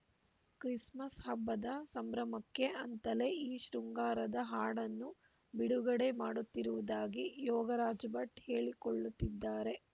Christmas ಹಬ್ಬದ ಸಂಭ್ರಮಕ್ಕೆ ಅಂತಲೇ ಈ ಶೃಂಗಾರದ ಹಾಡನ್ನು ಬಿಡುಗಡೆ ಮಾಡುತ್ತಿರುವುದಾಗಿ ಯೋಗರಾಜ್‌ ಭಟ್‌ ಹೇಳಿಕೊಳ್ಳುತ್ತಿದ್ದಾರೆ